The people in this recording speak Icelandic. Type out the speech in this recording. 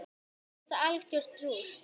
Verður þetta algjört rúst???